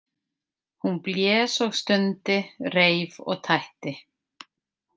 Hún blés og stundi, reif og tætti.